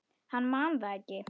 Hann man það ekki.